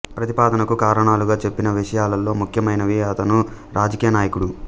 ప్రతిపాదనకు కారణాలుగా చెప్పిన విషయాలలో ముఖ్యమైనవి అతను రాజకీయ నాయకుడు